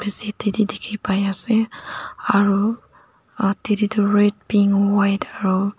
teddy dekhe pai ase aro uh teddy tuh red pink white aro--